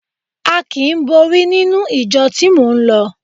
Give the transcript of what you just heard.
A kì í borí nínú ìjọ tí mò ń lọ.